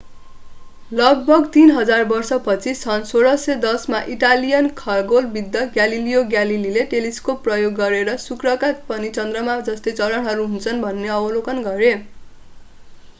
लगभग तीन हजार वर्षपछि सन् 1610 मा इटालियन खगोलविद् ग्यालिलियो ग्यालेलीले टेलिस्कोप प्रयोग गरेर शुक्रका पनि चन्द्रमाका जस्तै चरणहरू हुन्छन् भन्ने अवलोकन गरे